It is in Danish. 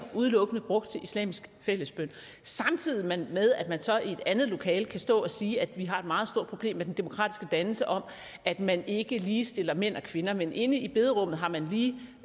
brugt til islamisk fællesbøn samtidig med med at man så i et andet lokale kan stå og sige at vi har et meget stort problem med den demokratiske dannelse og at man ikke ligestiller mænd og kvinder men inde i bederummet har man lige